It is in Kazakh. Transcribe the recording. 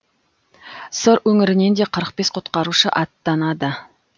сыр өңірінен де қырық бес құтқарушы аттанады